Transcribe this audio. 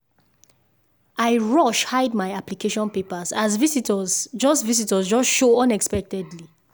i rush hide my application papers as visitors just visitors just show unexpectedly